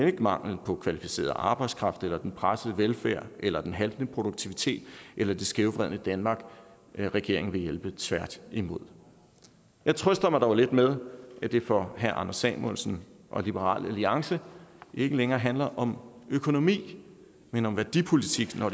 ikke mangel på kvalificeret arbejdskraft eller den pressede velfærd eller den haltende produktivitet eller det skævvredne danmark regeringen vil hjælpe tværtimod jeg trøster mig dog lidt med at det for herre anders samuelsen og liberal alliance ikke længere handler om økonomi men om værdipolitik når